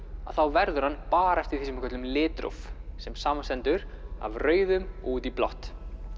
þá verður hann bara eftir því sem við köllum litróf sem samanstendur af rauðum og út í blátt